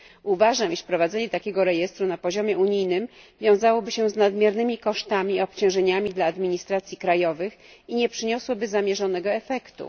Uważam, że wprowadzenie takiego rejestru na poziomie unijnym wiązałoby się z nadmiernymi kosztami i obciążeniami dla administracji krajowych i nie przyniosłoby zamierzonego efektu.